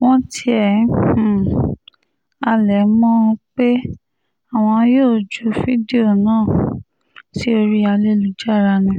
wọ́n tiẹ̀ um halẹ̀ mọ́ ọn pé àwọn yóò ju fídíò náà um sí orí ayélujára ni